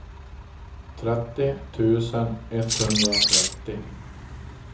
trettio tusen etthundratrettio